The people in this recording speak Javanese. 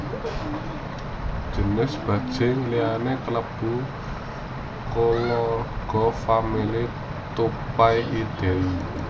Jinis bajing liyané kalebu kulawargafamily Tupaiidae